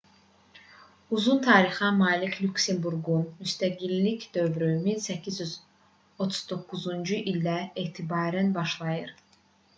uzun tarixə malik lüksemburqun müstəqillik dövrü 1839-cu ildən etibarən başlayır